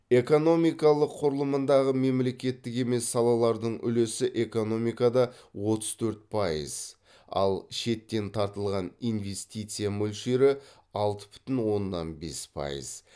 экономикалық құрылымындағы мемлекеттік емес салалардың үлесі экономикада отыз төрт пайыз ал шеттен тартылған инвестиция мөлшері алты бүтін оннан бес пайыз